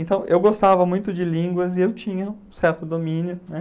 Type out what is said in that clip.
Então, eu gostava muito de línguas e eu tinha um certo domínio, né?